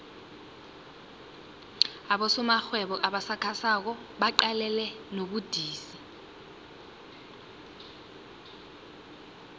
abosomarhwebo abasakhasako baqalene nobudisi